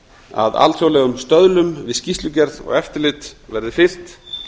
að alþjóðlega stöðlum við skýrslugerð og eftirlit verði fylgt